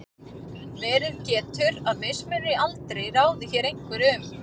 verið getur að mismunur í aldri ráði hér einhverju um